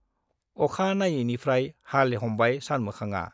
अखा नायैनिफ्राय हाल हमबाय सानमोखांआ।